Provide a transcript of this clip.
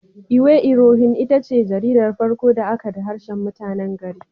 Iwe irohin itace jaridar farko da aka da harshen mutanen gari.